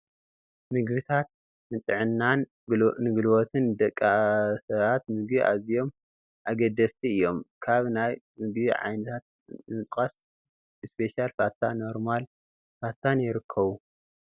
ምግብታት፡- ንጥዕናን ንጉልበትን ደቂ ሰባት ምግቢ ኣዝዮም ኣገደስቲ እዮም፡፡ ካብ ናይ ምግቢ ዓይነታት ንምጥቃስ ፡- ስፔሻል ፋታ ፣ ኖርማል ፋታን ይርከቡ፡፡